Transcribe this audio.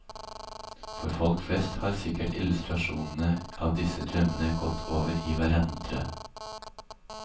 For folk flest har sikkert illustrasjonene av disse drømmene gått over i hverandre.